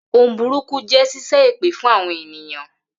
Ohun burúkú jí ṣíṣẹ́ èpè fún àwọn ènìyàn.